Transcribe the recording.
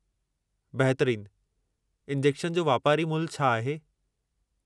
बहितरीन। इंजेक्शन जो वापारी मुल्हु छा आहे?